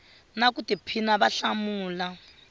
na ku tiphina va hlamula